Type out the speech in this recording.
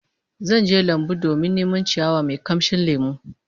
Zan je lambun domin neman ciyawa mai kamshin lemo